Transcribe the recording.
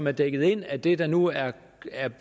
er dækket ind af det der nu er